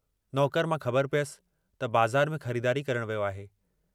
नौकर मां ख़बर पियस त बाज़ार में ख़रीदारी करण वियो आहे।